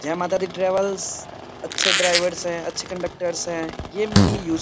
जय माता दी ट्रेवल्स अच्छे ड्राइवर्स हैं अच्छे कंडक्टरस हैं ये मेनली यूज़ --